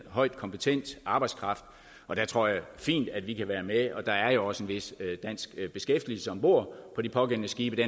meget kompetent arbejdskraft og der tror jeg fint vi kan være med der er jo også en vis dansk beskæftigelse ombord på de pågældende skibe